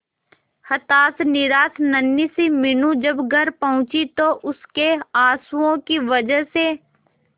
हताश निराश नन्ही सी मीनू जब घर पहुंची तो उसके आंसुओं की वजह से